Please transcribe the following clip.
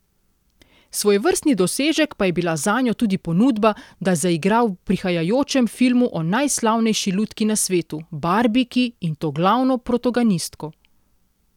Svojevrstni dosežek pa je bila zanjo tudi ponudba, da zaigra v prihajajočem filmu o najslavnejši lutki na svetu, barbiki, in to glavno protagonistko.